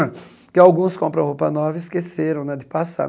porque alguns compram roupa nova e esqueceram né de passar.